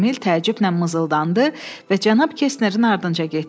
Emil təəccüblə mızıldandı və cənab Kestnerin ardınca getdi.